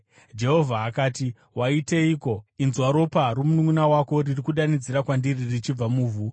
Jehovha akati, “Waiteiko? Inzwa! Ropa romununʼuna wako riri kudanidzira kwandiri richibva muvhu.